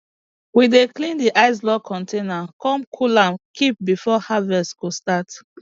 we dey clean d ice block container come cool am keep before harvest go start